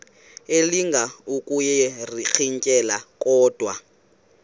elinga ukuyirintyela kodwa